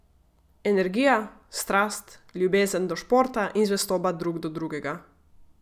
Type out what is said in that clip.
Energija, strast, ljubezen do športa in zvestoba drug do drugega.